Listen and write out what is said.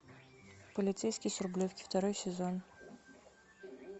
полицейский с рублевки второй сезон